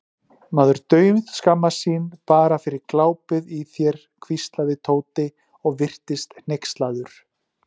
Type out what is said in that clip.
Maður dauðskammast sín bara fyrir glápið í þér hvíslaði Tóti og virtist hneykslaður.